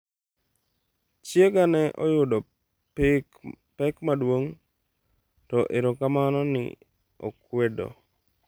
Chiega ne oyudo pek maduong', to erokamano, ne okwedo’.